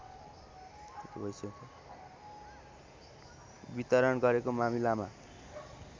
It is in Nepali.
वितरण गरेको मामिलामा